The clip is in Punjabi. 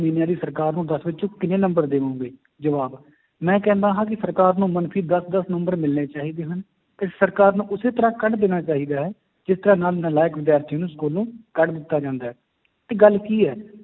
ਇਹਨਾਂ ਦੀ ਸਰਕਾਰ ਨੂੰ ਦਸ ਵਿੱਚੋਂ ਕਿੰਨੇ ਨੰਬਰ ਦੇਵੋਂਗੇ, ਜਵਾਬ ਮੈਂ ਕਹਿੰਦਾ ਹਾਂ ਕਿ ਸਰਕਾਰ ਨੂੰ ਮਨਫ਼ੀ ਦਸ ਦਸ number ਮਿਲਣੇ ਚਾਹੀਦੇ ਹਨ, ਤੇ ਸਰਕਾਰ ਨੂੰ ਉਸੇ ਤਰ੍ਹਾਂ ਕੱਢ ਦੇਣਾ ਚਾਹੀਦਾ ਹੈ, ਜਿਸ ਤਰ੍ਹਾਂ ਨਾਲ ਨਲਾਇਕ ਵਿਦਿਆਰਥੀ ਨੂੰ ਸਕੂਲੋਂ ਕੱਢ ਦਿੱਤਾ ਜਾਂਦਾ ਹੈ ਤੇ ਗੱਲ ਕੀ ਹੈ,